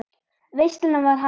Veislan var hafin.